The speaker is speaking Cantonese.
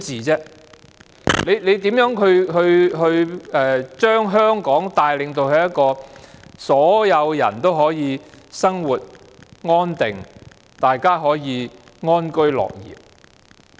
這樣如何能把香港帶領到一個所有人都可以生活安定，可以安居樂業的地方？